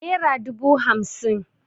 Nera dubu hamsin